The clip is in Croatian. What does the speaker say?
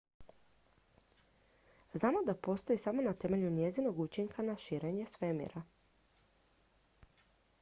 znamo da postoji samo na temelju njezinog učinka na širenje svemira